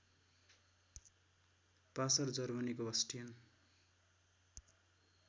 passer जर्मनीको Bastian